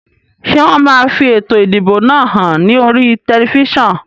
Ṣé wọn máa fi ètò ìdìbò náà hàn ní oríi tẹlifísàn?